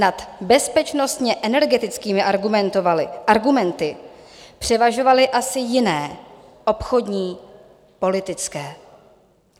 Nad bezpečnostně-energetickými argumenty převažovaly asi jiné, obchodní, politické.